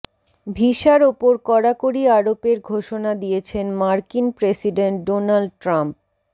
ভিসার ওপর কড়াকড়ি আরোপের ঘোষণা দিয়েছেন মার্কিন প্রেসিডেন্ট ডোনাল্ড ট্রাম্প